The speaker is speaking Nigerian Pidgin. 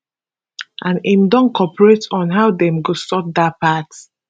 and im don cooperate on how dem go sort dat part